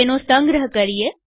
તેનો સંગ્રહ કરીએ